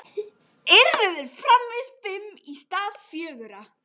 Yrðu þeir framvegis fimm í stað fjögurra?